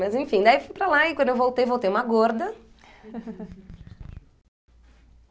Mas enfim, né, e fui para lá e quando eu voltei, voltei uma gorda.